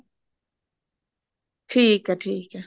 ਠੀਕ ਆ ਠੀਕ ਆ